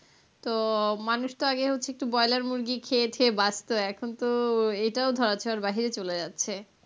তো মানুষ তো আগে হচ্ছে একটু বয়লার মুরগি খেয়ে ঠেয়ে বাঁচত, এখন তো এইটাও ধরা ছোঁয়ার বাইরে চলে যাচ্ছে.